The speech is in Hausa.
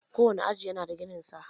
Kowane aji yana da gininsa.